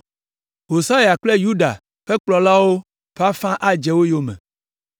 Hosaya kple Yuda ƒe kplɔlawo ƒe afã adze wo yome,